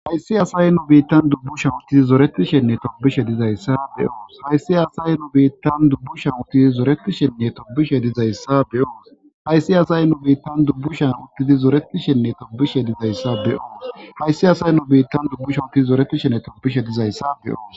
hayssi asaye nu biittan dubbu shawutii zoreti shenne tobishe dizayssa beyoos hayssi asaye nu biittan dubbu shawuti zoreti shenne tobishe dizayssa beyoos hayssi asay nu biittan dubbu shen uttidi zoretishenne tobishe dizayssa beyoos hayssi asaye nu biittan dubbu shawuti zoretishenne tobishe dizayssa beyoos